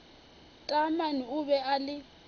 taamane o be a le